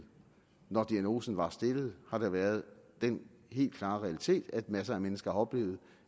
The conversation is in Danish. når diagnosen var stillet har der været den helt klare realitet at masser af mennesker har oplevet